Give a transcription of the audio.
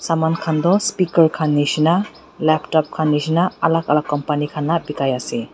saman khan toh speaker khan nishina laptop khan nishi na alak alak company khan la bikaiase.